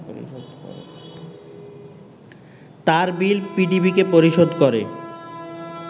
তারবিল পিডিবিকে পরিশোধ করে